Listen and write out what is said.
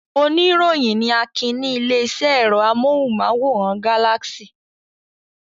Oníròyìn ni Akin ní ilé-iṣẹ́ ẹ̀rọ amóhùmáwòhán Galaxy.